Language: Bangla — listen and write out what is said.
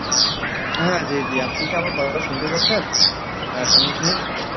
হ্যাঁ জি জি আপনি কি আমার কথাটা শুনতে পাচ্ছেন আহ সামিন সাহেব?